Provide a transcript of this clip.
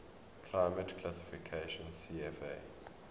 climate classification cfa